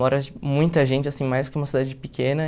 Mora muita gente, assim, mais que uma cidade pequena.